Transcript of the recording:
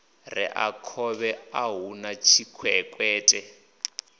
rea khovhe a huna tshikwekwete